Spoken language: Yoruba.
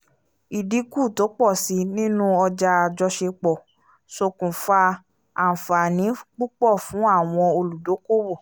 ìdínkù tó pọ̀ síi nínú ọjà àjọṣepọ̀ ṣòkùnfa àǹfààní púpọ̀ fún àwọn olùdókòwò